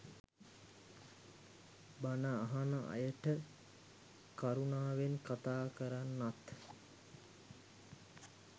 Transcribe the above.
බන අහන අයට කරුනාවෙන් කතා කරන්නත්